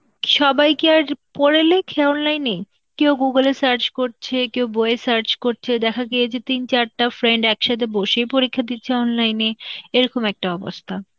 সবাই কি আর পোড়লেই কি online এ, কেউ Google এ search করছে, কেউ বইয়ে search করছে, দেখা গিয়েছে যে তিন চারটা friend একসাথে বসে পরীক্ষা দিচ্ছে online এ, এরকম একটা অবস্থা.